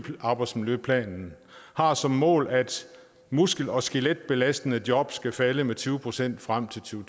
arbejdsmiljøplanen har som mål at muskel og skeletbelastende job skal falde med tyve procent frem til to